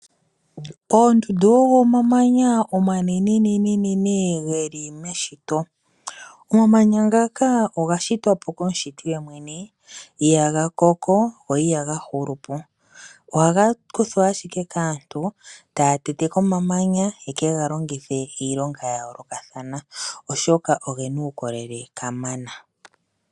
Oondundu odho omamanya omanenenene geli meshito. Omamanya ngaka oga shitwapo komushiti yemwene ihaga koko go ihaga hulu po. Ohaga kuthwa ashike kaantu taya tete ko omamanya ye kega longithe iilonga yayoolokathana oshoka ogena uukolele kamana.